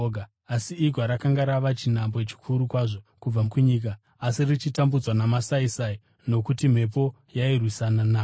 asi igwa rakanga rava chinhambwe chikuru kwazvo kubva kunyika asi richitambudzwa namasaisai nokuti mhepo yairwisana naro.